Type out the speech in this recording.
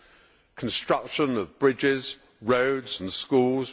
for the construction of bridges, roads and schools